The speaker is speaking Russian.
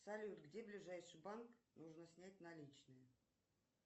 салют где ближайший банк нужно снять наличные